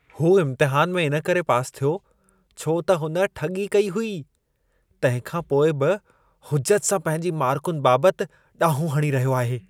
हू इम्तिहान में इन करे पास थियो, छो त हुन ठॻी कई हुई। तंहिंखां पोइ बि हुजत सां पंहिंजी मार्कुनि बाबति डाड़ूं हणी रहियो आहे।